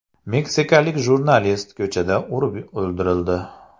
Meksikalik jurnalist ko‘chada urib o‘ldirildi.